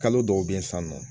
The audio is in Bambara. Kalo dɔw be ye san nɔ